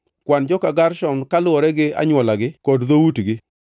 “Kwan joka Gershon kaluwore gi anywolagi kod dhoutgi.